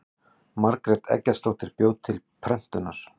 margrét eggertsdóttir bjó til prentunar